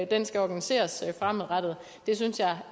den skal organiseres fremadrettet det synes jeg